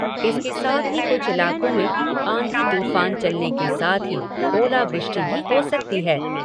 इसके साथ ही कुछ इलाकों में आंधी तूफान चलने के साथ ही ओलावृष्टि भी हो सकती है।